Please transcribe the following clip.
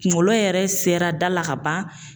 Kunkolo yɛrɛ sera da la ka ban.